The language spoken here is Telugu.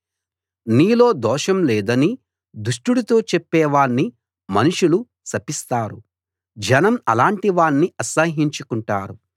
నీలో దోషం లేదని దుష్టుడితో చెప్పే వాణ్ణి మనుషులు శపిస్తారు జనం అలాటి వాణ్ణి అసహ్యించుకుంటారు